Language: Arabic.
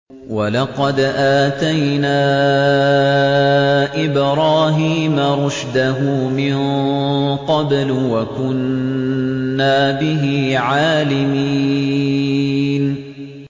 ۞ وَلَقَدْ آتَيْنَا إِبْرَاهِيمَ رُشْدَهُ مِن قَبْلُ وَكُنَّا بِهِ عَالِمِينَ